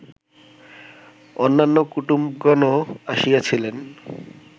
অন্যান্য কুটুম্বগণও আসিয়াছিলেন